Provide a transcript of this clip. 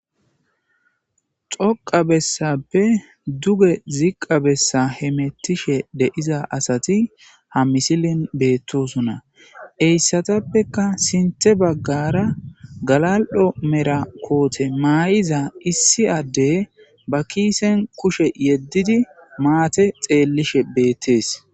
xoqa bessappe duge ziqqa bessa hemettishe deiza asati ha misilin beettosunna eyssatappeka sinthe baggara galal7o mera koote maay7iza issi addey ba kiisen kushe yeddidi maate xeellishe beettees